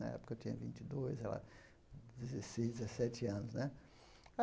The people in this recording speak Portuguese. Na época eu tinha vinte dois, ela dezesseis, dezesete anos né.